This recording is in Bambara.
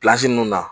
ninnu na